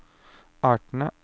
artene